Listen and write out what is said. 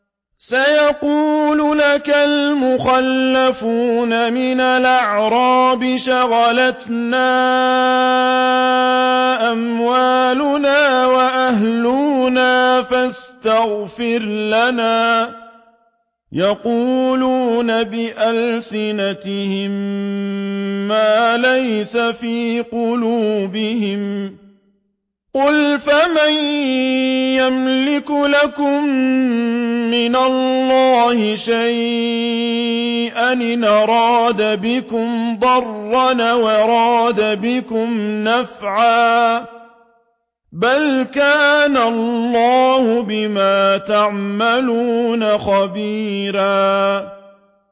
سَيَقُولُ لَكَ الْمُخَلَّفُونَ مِنَ الْأَعْرَابِ شَغَلَتْنَا أَمْوَالُنَا وَأَهْلُونَا فَاسْتَغْفِرْ لَنَا ۚ يَقُولُونَ بِأَلْسِنَتِهِم مَّا لَيْسَ فِي قُلُوبِهِمْ ۚ قُلْ فَمَن يَمْلِكُ لَكُم مِّنَ اللَّهِ شَيْئًا إِنْ أَرَادَ بِكُمْ ضَرًّا أَوْ أَرَادَ بِكُمْ نَفْعًا ۚ بَلْ كَانَ اللَّهُ بِمَا تَعْمَلُونَ خَبِيرًا